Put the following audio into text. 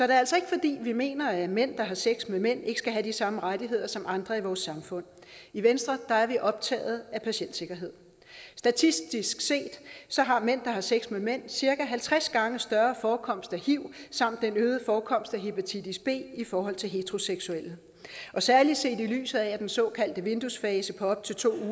det altså ikke fordi vi mener at mænd der har sex med mænd ikke skal have de samme rettigheder som andre i vores samfund i venstre er vi optaget af patientsikkerhed statistisk set har mænd der har sex med mænd cirka halvtreds gange større forekomst af hiv samt en øget forekomst af hepatitis b i forhold til heteroseksuelle særlig set i lyset af den såkaldte vinduesfase på op til to